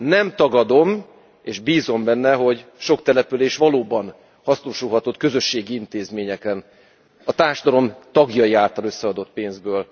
Nem tagadom, és bízom benne, hogy sok település valóban hasznosulhatott a közösségi intézményekben a társadalom tagjai által összeadott pénzből.